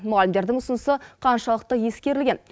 мұғалімдердің ұсынысы қаншалықты ескерілген